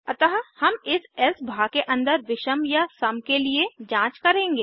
अतः हम इस एल्से भाग के अन्दर विषम या सम के लिए जांच करेंगे